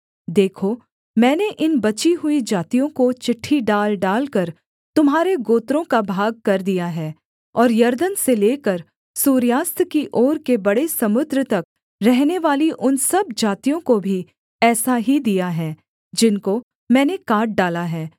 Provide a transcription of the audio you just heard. देखो मैंने इन बची हुई जातियों को चिट्ठी डाल डालकर तुम्हारे गोत्रों का भागकर दिया है और यरदन से लेकर सूर्यास्त की ओर के बड़े समुद्र तक रहनेवाली उन सब जातियों को भी ऐसा ही दिया है जिनको मैंने काट डाला है